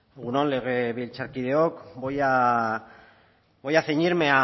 egun on legebiltzarkideok voy a voy a ceñirme